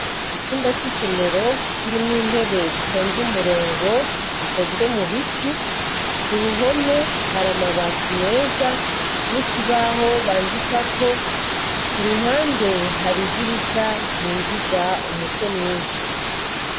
Icumba c'isomero kirimw'intebe zitonze umurongo, zikozwe mu biti, k'uruhome har'amabati meza n'ikibaho bandikako ,k'uruhande hari idirisha ryinjiza umuco mwinshi.